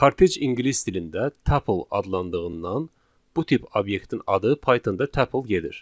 Kortej ingilis dilində tuple adlandığından bu tip obyektin adı Pythonda tuple gedir.